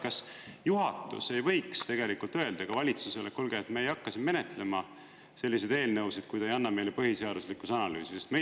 Kas juhatus ei võiks öelda valitsusele, et kuulge, me ei hakka siin menetlema selliseid eelnõusid, kui te ei anna meile põhiseaduslikkuse analüüsi?